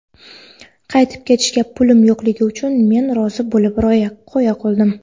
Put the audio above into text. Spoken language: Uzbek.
Qaytib ketishga pulim yo‘qligi uchun men rozi bo‘lib qo‘ya qoldim.